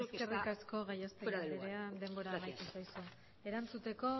creo que está fuera de lugar gracias eskerrik asko gallastegui andrea denbora amaitu zaizu erantzuteko